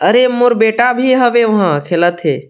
अरे मोर बेटा भी हवे वहाँ खेलत हे।